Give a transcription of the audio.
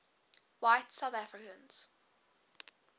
white south africans